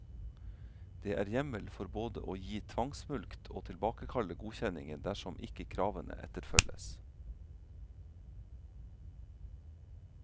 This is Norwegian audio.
Det er hjemmel for både å gi tvangsmulkt og tilbakekalle godkjenningen dersom ikke kravene etterfølges.